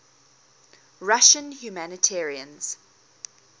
russian humanitarians